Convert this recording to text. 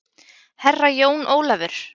Herra Jón Ólafur!